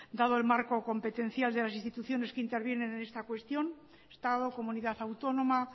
dado el marco competencial de las instituciones que intervienen en esta cuestión estado comunidad autónoma